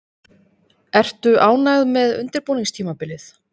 Ertu ánægð með undirbúningstímabilið?